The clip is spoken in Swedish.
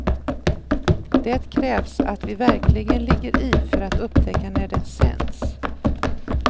Det krävs att vi verkligen ligger i för att upptäcka när det sänds.